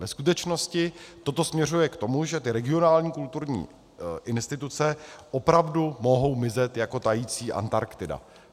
Ve skutečnosti to směřuje k tomu, že ty regionální kulturní instituce opravdu mohou mizet jako tající Antarktida.